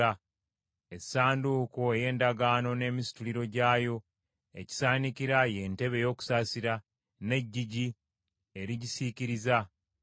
essanduuko ey’Endagaano n’emisituliro gyayo, n’ekisaanikira, ye ntebe ey’okusaasira, n’eggigi erigisiikiriza;